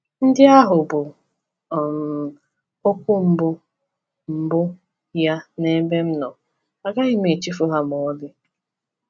Ndị ahụ bụ um okwu mbụ mbụ ya n’ebe m nọ, agaghị m echefu ha ma ọlị.